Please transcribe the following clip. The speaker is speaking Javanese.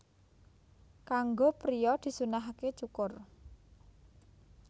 Kanggo priya disunnahaké cukur